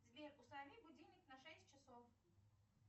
сбер установи будильник на шесть часов